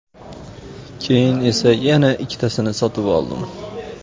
Keyin esa yana ikkitasini sotib oldim.